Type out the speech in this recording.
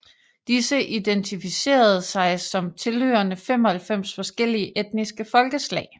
Disse identificerede sig som tilhørende 95 forskellige etniske folkeslag